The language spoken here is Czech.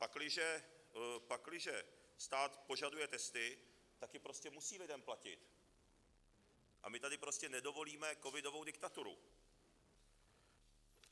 Pakliže stát požaduje testy, tak je prostě musí lidem platit, a my tady prostě nedovolíme covidovou diktaturu.